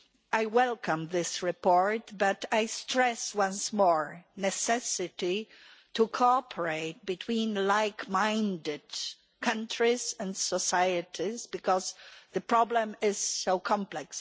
I welcome this report, but I stress once more the necessity to cooperate between like-minded countries and societies, because the problem is so complex.